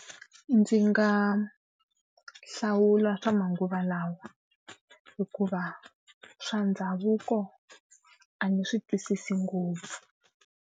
Ndzi nga hlawula swa manguva lawa, hikuva swa ndhavuko a ndzi swi twisisi ngopfu.